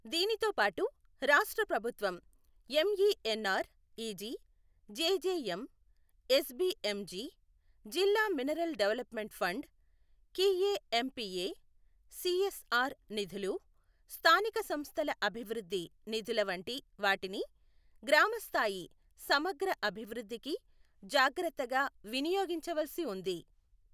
దీనితోపాటు రాష్ట్రప్రభుత్వం MENR EG, JJM, SBM G, జిల్లా mineral development fund , CAMPA, CSR నిధులు, స్థానిక సంస్థల అభివృద్ధి నిధుల వంటివాటిని గ్రామ స్థాయి సమగ్ర అభివృద్ధికి జాగ్రత్తగా వినియోగించవలసి ఉంది.